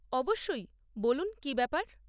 অবশ্যই, বলুন কী ব্যাপার?